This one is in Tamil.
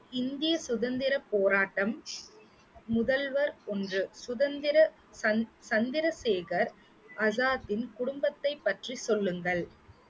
இந்திய சுதந்திரப் போராட்டம், முதல்வர் ஒன்று, சுதந்திர சந்~ சந்திரசேகர் ஆசாத்தின் குடும்பத்தைப் பற்றி சொல்லுங்கள்